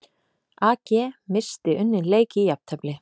AG missti unninn leik í jafntefli